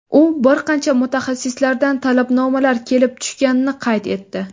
U bir qancha mutaxassislardan talabnomalar kelib tushganini qayd etdi.